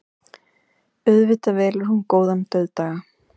Auðvitað velur hún góðan dauðdaga.